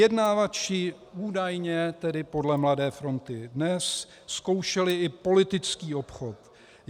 Vyjednávači údajně, tedy podle Mladé fronty Dnes, zkoušeli i politický obchod.